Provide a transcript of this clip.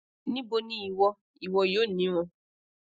nibo ni iwo iwo yoo ni won